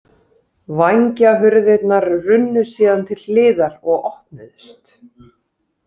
Vængjahurðirnar runnu síðan til hliðar og opnuðust.